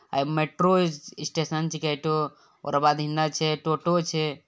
अय metro station छकै है ठो। ओकर बाद हिन्ने छै टोटो छै ।